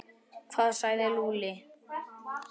Hvað sagði Lúlli?